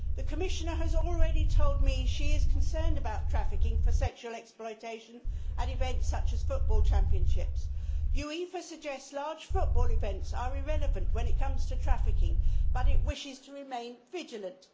The Commissioner has already told me she is concerned about trafficking for sexual exploitation at events such as football championships. UEFA suggests large football events are irrelevant when it comes to trafficking, but it wishes to remain vigilant.